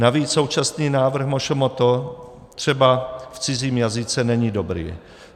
Navíc současný návrh MŠMT třeba v cizím jazyce není dobrý.